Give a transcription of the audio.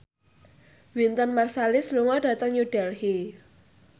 Wynton Marsalis lunga dhateng New Delhi